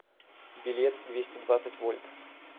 билет двести двадцать вольт